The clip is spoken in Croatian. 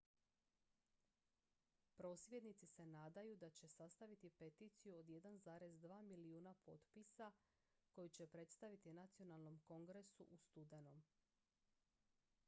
prosvjednici se nadaju da će sastaviti peticiju od 1,2 milijuna potpisa koju će predstaviti nacionalnom kongresu u studenom